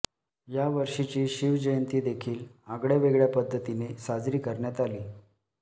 यावर्षीची शिवजयंती देखील आगळ्या वेगळ्या पध्दतीने साजरी करण्यात आली